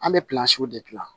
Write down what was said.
An bɛ de gilan